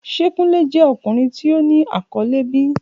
Ṣe Kunle jẹ ọkunrin ti o ni akọle bi?